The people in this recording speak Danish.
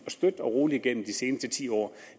og støt gennem de sidste ti år